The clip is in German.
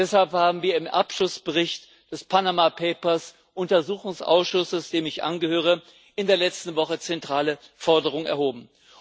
Deshalb haben wir im Abschlussbericht des Panama Papers Untersuchungsausschusses, dem ich angehöre, in der letzten Woche zentrale Forderungen erhoben.